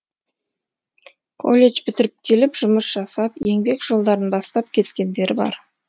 колледж бітіріп келіп жұмыс жасап еңбек жолдарын бастап кеткендері бар